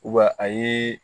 a ye